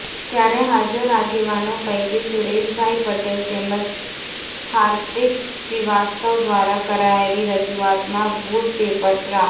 ત્યારે હાજર આગેવાનો પૈકી સુરેશભાઇ પટેલ તેમજ ર્હાિદક શ્રીવાસ્તવ દ્રારા કરાયેલી રજૂુઆતમાં વુડ પેપર પ્રા